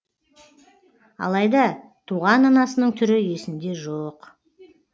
алайда туған анасының түрі есінде жоқ